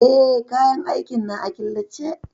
Eh, kayan aikin na a killace.